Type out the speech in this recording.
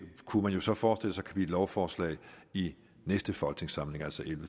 kunne man jo så forestille sig lovforslag i næste folketingssamling altså